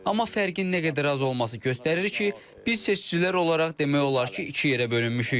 Amma fərqin nə qədər az olması göstərir ki, biz seçicilər olaraq demək olar ki, iki yerə bölünmüşük.